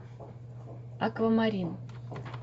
аквамарин